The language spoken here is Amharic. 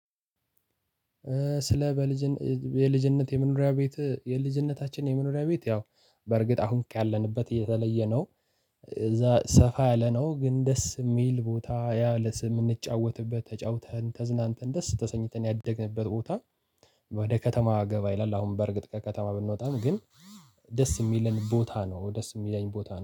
ስለ በልጅነ የልጅነት የመኖሪያ ቤት የልጅነታችን የመኖሪያ ቤት ያው በእርግጥ አሁን ካለንበት የተለየ ነው። እዛ ሰፋ ያለ ነው ግን ደስ የሚል ቦታ ያ ለት የምንጫወትበት ተጫውተን ተዝናንተን ደስ ተሰኝተን ያደግንበት ቦታ። ወደ ከተማ ገባ ይላል አሁን በእርግጥ ከከተማ ብንወጣም ግን ደስ የሚለን ቦታ ነው። ደስ የሚለኝ ቦታ ነው